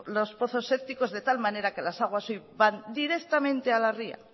los pozos sépticos de tal manera que las aguas hoy van directamente a la ría